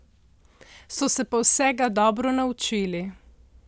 So se pa vsega dobro naučili.